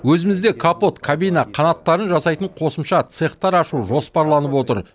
өзімізде капот кабина қанаттарын жасайтын қосымша цехтар ашу жоспарланып отыр